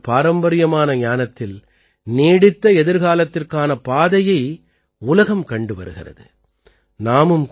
பாரதத்தின் இந்தப் பாரம்பரியமான ஞானத்தில் நீடித்த எதிர்காலத்திற்கான பாதையை உலகம் கண்டு வருகிறது